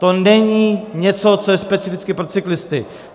To není něco, co je specificky pro cyklisty.